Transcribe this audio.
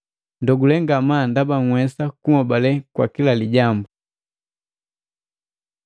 Ndogule ngamaa ndaba nhwesa kunhobale kwa kila lijambu.